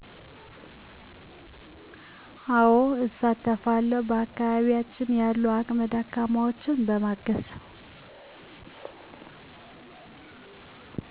አወ እሳተፋለዉ በአከባቢያችን ያሉ አቅመ ደካማወችን በማገዝ